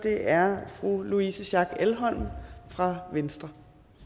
er fru louise schack elholm fra venstre